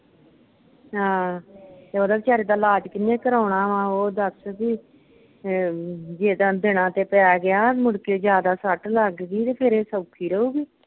ਹਾਂ, ਉਹਦੇ ਵਿਚਾਰੇ ਦਾ ਇਲਾਜ ਕਿੰਨੇ ਕਰਾਉਣਾ ਵਾਂ? ਓਹ ਦੱਸ ਬਈ ਅਮ ਬਈ ਜਿੱਦਣ ਦਿਨਾਂ ਤੇ ਪੈ ਗਿਆ ਮੁੜਕੇ ਜਿਆਦਾ ਸੱਟ ਲੱਗ ਗਈ ਤੇ ਫਿਰ ਇਹ ਸੋਖੀ ਰਹੂਗੀ?